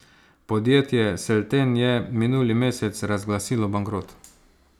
Podjetje Selten je minuli mesec razglasilo bankrot.